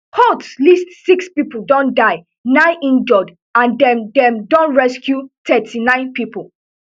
whoat least six pipo don die nine injure and dem dem don rescue thirty-nine pipo